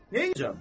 Nəyəcəm?